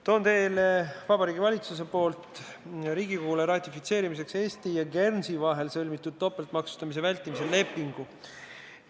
Toon teile Vabariigi Valitsuselt Riigikogule ratifitseerimiseks Eesti ja Guernsey sõlmitud topeltmaksustamise vältimise lepingu.